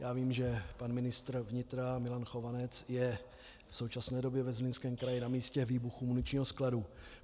Já vím, že pan ministr vnitra Milan Chovanec je v současné době ve Zlínském kraji na místě výbuchu muničního skladu.